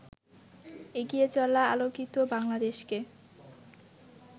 এগিয়ে চলা আলোকিত বাংলাদেশকে